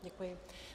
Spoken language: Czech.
Děkuji.